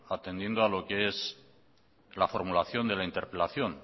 atendiendo a lo que es la formulación de la interpelación